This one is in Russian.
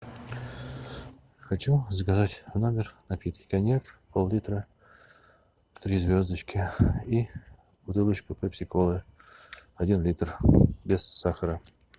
хочу заказать в номер напитки коньяк пол литра три звездочки и бутылочку пепси колы один литр без сахара